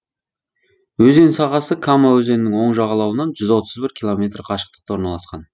өзен сағасы кама өзенінің оң жағалауынан жүз отыз бір километр қашықтықта орналасқан